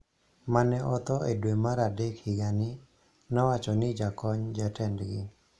ma ne otho e dwe mar adek higa ni, nowacho ni jakony jatendgi,